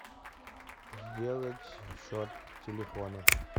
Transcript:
сделать счет телефона